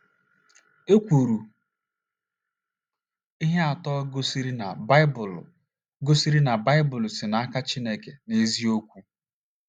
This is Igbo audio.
a kwuru ihe atọ gosiri na Baịbụl gosiri na Baịbụl si n’aka Chineke n’eziokwu.